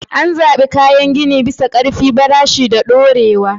An zaɓi kayan gini bisa ƙarfi, farashi, da dorewa.